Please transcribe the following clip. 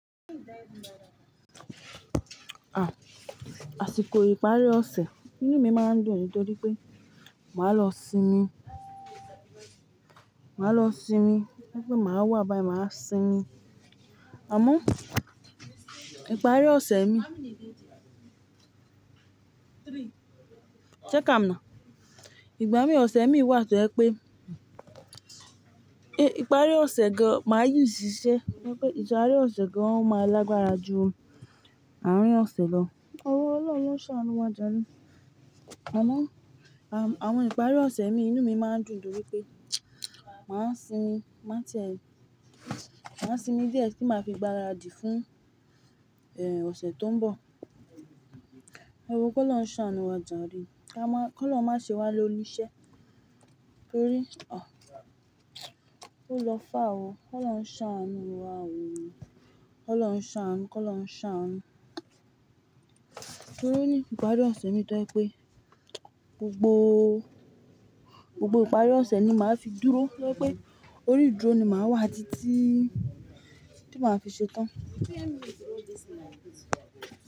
À, àsìkò ìparí ọ̀sẹ̀ inú mi máa ń dùn nítorí pé màá lọ sinmi. Màá lọ sinmi wípé màá wà báyìí, màá sinmi. Àmọ́ ìparí ọ̀sẹ̀ mi ṣé ká a mọ̀nà? Ìgbà míìn ọ̀sẹ̀ míìn wà tó jẹ́ pé, e, ìparí ọ̀sẹ̀ gan máa ṣi ìṣìṣẹ́ wípé ìparí ọ̀sẹ̀ gan máa lágbára ju àárín ọ̀sẹ̀ lọ. Ọlọ́hun lóún ṣàánú wa jàre. Àmọ́, à, àwọn ìparí ọ̀sẹ̀ míìn inú mi máa ń dùn nítorí pé màá sinmi, má tiẹ̀ mi. Màá sinmi díẹ̀ tí màá fi gbáradì fún, e, ọ̀sẹ̀ tó ń bọ̀. Ẹ wò ó kọ́lọ́hun ṣàánú wa jàre. Ká máa, kọ́lọ́hun má ṣe wá lóníṣẹ́. Torí, ọ̀, ó lọ far oo Kọ́lọ́hun ṣàánú wa oo. Kọ́ lọ́ ń ṣàánú, kọ́ lọ́ ń ṣàánú. Torí ní ìparí ọ̀sẹ̀ míìn tó jẹ́ pé gbogbo, gbogbo ìparí ọ̀sẹ̀ ni màá fi dúró tó jẹ́ wípé orí dúró ni màá wà títí tí màá fi ṣetán.